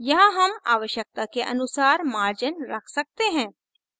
यहाँ हम आवश्यकता के अनुसार margins रख सकते हैं